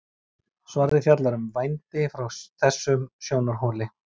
Svarið fjallar um vændi frá þessum sjónarhóli.